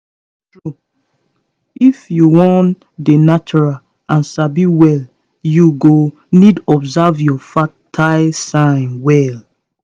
true true if you wan dey natural and sabi well you go need observe your fertile signs well